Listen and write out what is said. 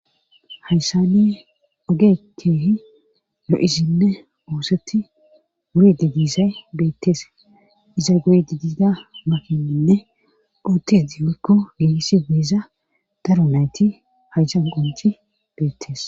hayssani ogekeehi lo7isinne oosetti wuride disay beettees iza goy didida makininne buuttedioykko ihisi miiza daro nayti haysan qonci beettees